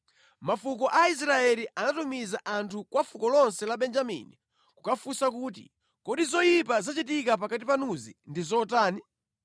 Mafuko a Israeli anatumiza anthu kwa fuko lonse la Benjamini kukafunsa kuti, “Kodi zoyipa zachitika pakati panuzi ndi zotani?